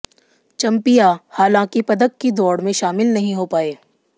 चम्पिया हालांकि पदक की दौड़ में शामिल नहीं हो पाये